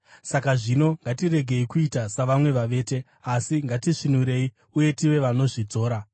Saka zvino, ngatiregei kuita savamwe vavete, asi ngatisvinurei uye tive vanozvidzora.